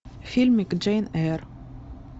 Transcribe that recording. фильмик джейн эйр